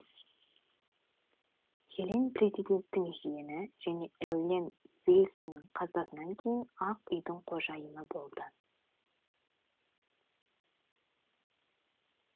хелен президенттің жиені және эллен вильсонның қазасынан кейін ақ үйдің қожайыны болды